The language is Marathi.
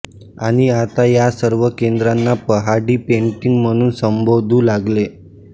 आणि आता या सर्व केंद्रांना पहाडी पेंटिंग म्हणून संबोधू लागले